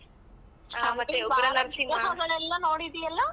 ನೋಡಿದಿಯಲ್ಲ.